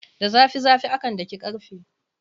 Da zafi zafi akan daki karfe.